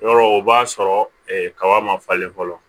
Yɔrɔ o b'a sɔrɔ kaba ma falen fɔlɔ